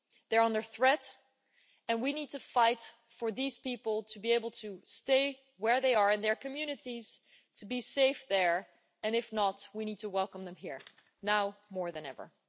They are under threat and we need to fight for these people to be able to stay where they are in their communities, to be safe there and, if not, we need to welcome them here, now more than ever.